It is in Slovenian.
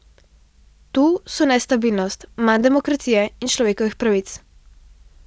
Tu so nestabilnost, manj demokracije in človekovih pravic.